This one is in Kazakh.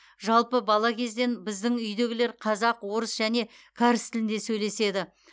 жалпы бала кезден біздің үйдегілер қазақ орыс және кәріс тілінде сөйлеседі